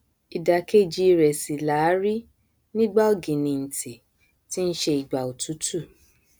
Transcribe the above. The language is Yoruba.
ìdàkejì rẹ sì làá rí nígbà ọgìnìntìn tí nṣe ìgbà òtútù